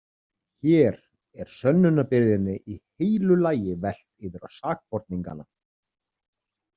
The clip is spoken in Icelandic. Hér er sönnunarbyrðinni í heilu lagi velt yfir á sakborningana.